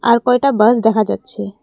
আর কয়টা বাস দেখা যাচ্ছে।